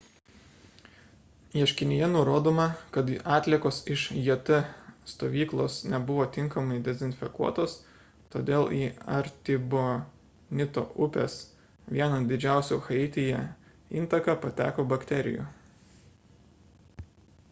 ieškinyje nurodoma kad atliekos iš jt stovyklos nebuvo tinkamai dezinfekuotos todėl į artibonito upės – vienos didžiausių haityje – intaką pateko bakterijų